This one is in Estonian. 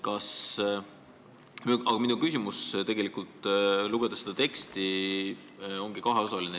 Aga minu küsimus, mis tekkis seda teksti lugedes, on kaheosaline.